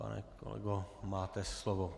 Pane kolego, máte slovo.